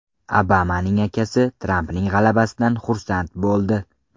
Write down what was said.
Obamaning akasi Trampning g‘alabasidan xursand bo‘ldi.